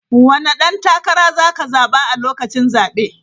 Wane dan takara za ka zaba a lokacin zabe?